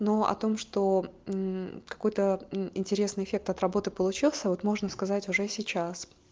но о том что какой-то интересный эффект от работы получился вот можно сказать уже сейчас